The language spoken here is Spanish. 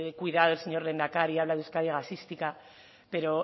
cuidado al señor lehendakari habla de euskadi gasística pero